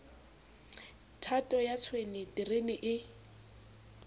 thato ya tshwene terene e